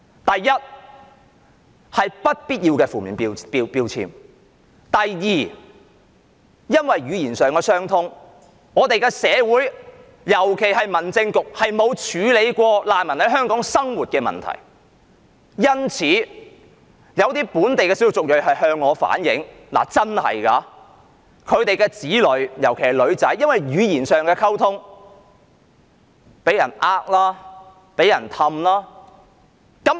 第一，他們會被貼上不必要的負面標籤；第二，基於語言上的問題，而我們的社會並沒有處理過難民在港生活時遇到的問題，因此有本地少數族裔便向我反映，說他們的子女由於語言上的溝通問題而會被人欺騙。